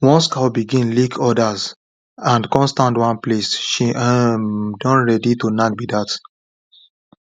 once cow begin lick others and come stand one place she um don ready to knack be that